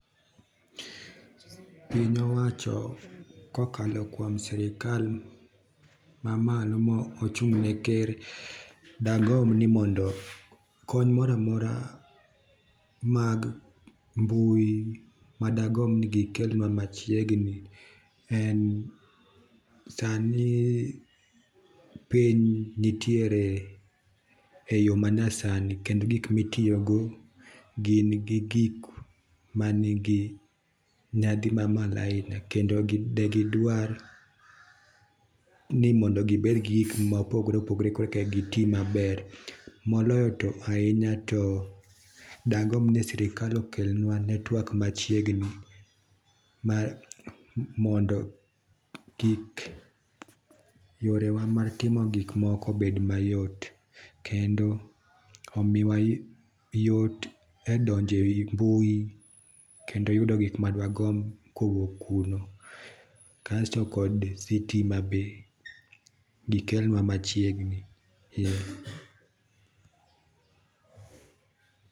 Piny owacho kokalo kuom sirkal mamalo mochung ne ker dagomb ni mondo kony moro amora mag mbui madagomb ni gikelnwa machiegni en, sani piny nitiere e yoo manyasani kendo gik mitiyo go gin gigik manigi nyadhi mamalo ahinya kendo de gidwar ni mondo gibed gi gik mopogore opogore korka gitii maber. Moloyo to ahinya do dagomb ni sirkal oklnewa network machiegni mondo kik yorewa mag timo gikwa obed mayot kendo omiwa yot e donjo e mbui kendo yudo gik ma dwagomb kowuok kuno. Kasto bende sitima be gikelnwa machiegni